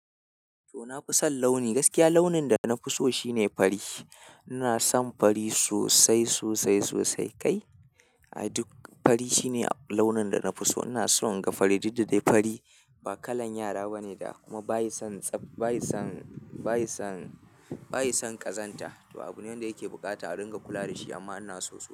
To, na fi son launi. Gaskiya launin da na fi so shine fari. Ina son fari sosai, sosai, sosai kai. Ai duk fari shine launin da na fi so. Ina so in ga fari, duk da dai fari ba kalan yara ba ne da kuma bayi son, bayi son, bayi son, bayi son ƙazanta. To, abu ne wanda yake buƙata a ringa kula wa da shi amma ina so sosai.